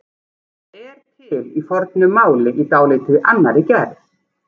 Það er til í fornu máli í dálítið annarri gerð.